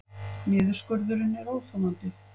Niðurskurðurinn er óþolandi